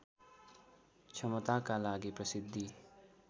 क्षमताका लागि प्रसिद्धि